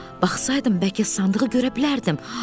Baxsaydım bəlkə sandığı görə bilərdim.